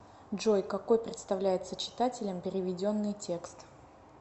джой какой представляется читателям переведенный текст